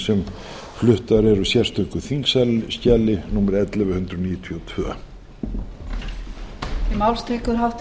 sem fluttar eru á sérstöku þingskjali númer ellefu hundrað níutíu og tvö